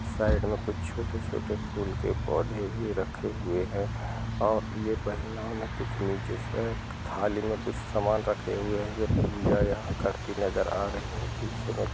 Side में कुछ छोटे-छोटे फूल के पौधे भी रखे हुए हैं और ये महिलाओं ने कुछ नीचे से एक थाली में कुछ समान रखे हुए हैं। ये पूजा यहाँ करती नजर आ रही हैं। पीछे में --